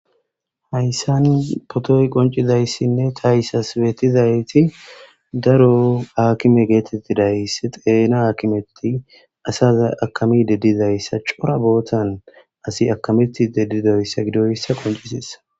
Hayssan potoy qoncizayssinne taysas beetizayti daro akime geetettidays xeena akimetti asaza akami deddizayssa cora bootan asi akameti deddidoyssa gidoyssa qoncisessa.